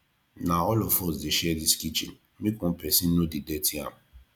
na all of us dey share dis kitchen make one pesin no dey dirty am